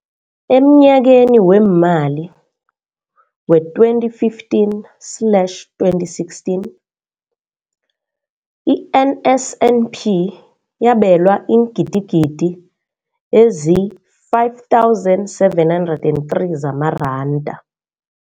Emnyakeni weemali we-2015 slash 2016, i-NSNP yabelwa iingidigidi ezi-5 703 zamaranda.